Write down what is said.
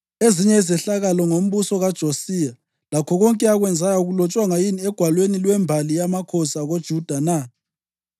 Ezinye izehlakalo ngombuso kaJosiya, lakho konke akwenzayo, akulotshwanga yini egwalweni lwembali yamakhosi akoJuda na?